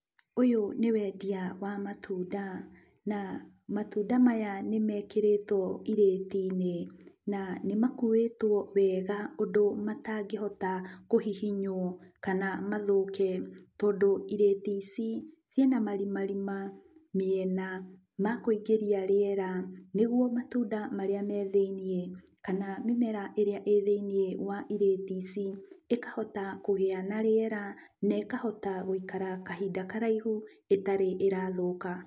Ũyũ nĩ wendia wa matunda na matunda maya nĩmekĩrĩtwo irĩti-inĩ, na nĩmakuĩtwo wega ũndũ matangĩhota kũhihinywo kana mathũke, tondũ irĩti ici ciina marimarima mĩena ma kũingĩria rĩera nĩgwo matunda marĩa me thĩiniĩ kana mĩmera ĩrĩa ĩĩ thĩiniĩ wa irĩti ici ĩkahota kũgĩa na rĩera nekahota gũikara kahinda karaihu ĩtarĩ ĩrathũka.